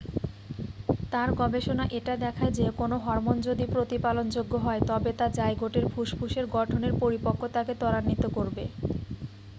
তার গবেষণা এটা দেখায় যে কোনও হরমোন যদি প্রতিপালনযোগ্য হয় তবে তা জাইগোটের ফুসফুসের গঠনের পরিপক্কতাকে তরাণ্বিত করবে